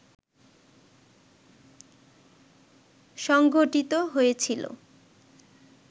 সংগঠিত হয়েছিল